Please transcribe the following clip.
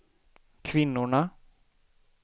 kvinnorna